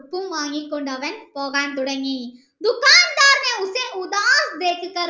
ഉപ്പും വാങ്ങി കൊണ്ട് അവൻ പോകാൻ തുടങ്ങി